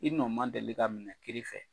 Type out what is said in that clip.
I nɔ ma deli ka minɛ kiri fɛ.